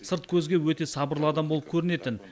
сырт көзге өте сабырлы адам болып көрінетін